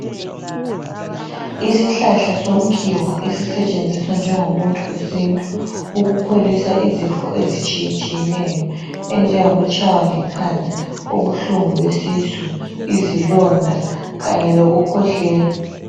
isihlahla somkhiwa esisetshenziswa njengo muthi wesintu ukupholisa izifo ezitshiyetshiyeneyo enjengokutshaywa likhanda ubuhlungu besisu izilonda kanye lokukhwehlela